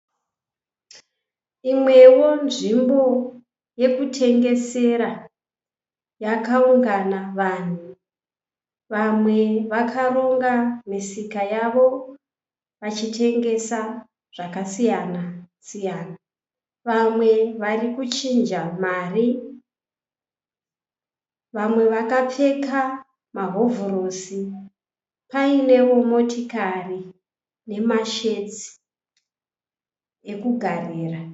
Imwewo nzvimbo yekutengesera yakaungana vanhu. Vamwe vakaronga misika yavo vachitengesa zvakasiyana siyana. Vamwe varikuchinja Mari. Vamwe vakapfeka mahovhorosi painewo motokari nemashedhi okugarira.